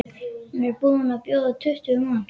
Hún er búin að bjóða tuttugu manns.